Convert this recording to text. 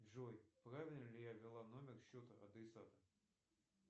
джой правильно ли я ввела номер счета адресата